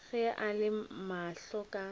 ge a re mahlo ka